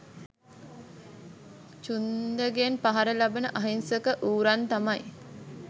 චුන්දගෙන් පහර ලබන අහිංසක ඌරන් තමයි.